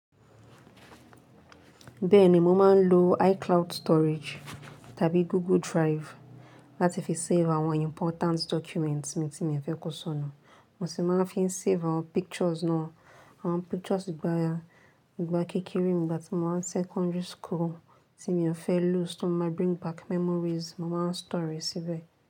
Bẹ́ẹ̀ ni, mo máa ń lo iCloud storage tàbí Google Drive láti fi save àwọn important documents mi tí mo fẹ́ kó sọnù. Mo sì máa ń fi save àwọn pictures náà, àwọn pictures ìgbà ti ba ya, ìgbà kékeré, ìgbà tí mo wà ní secondary school tí mo fẹ́ loose, tó máa bring back memories, mo máa ń store síbẹ̀